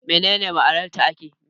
Me ne ne ma'anar taake?